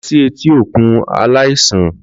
Lọ si eti okun alaisan!